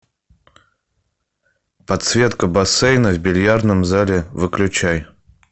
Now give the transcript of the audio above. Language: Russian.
подсветка бассейна в бильярдном зале выключай